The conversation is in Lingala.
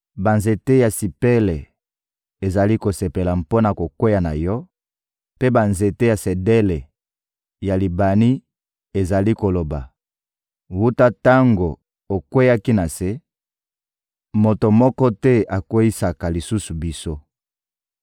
Banzete ya sipele ezali kosepela mpo na kokweya na yo, mpe banzete ya sedele ya Libani ezali koloba: ‹Wuta tango okweyaki na se, moto moko te akweyisaka lisusu biso.›